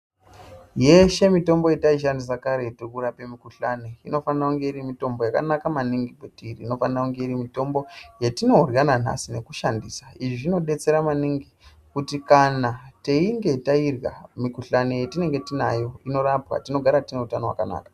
Yeshe mitombo yataishandisa karetu kurapa mikuhlani anofana kuendayo iri mitombo yakanaka maningi kuti ifona kunge iri mitombo yatinayo yananhadi yekushandisa izvi zvinodetsera maningi kuti kana teinga Tairya mikuhlani yatinenge tinayo inorapwa tinogara time hutano hwakanaka.